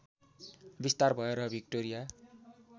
विस्तार भयो र विक्टोरिया